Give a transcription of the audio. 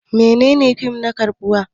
Menene fim na karbuwa?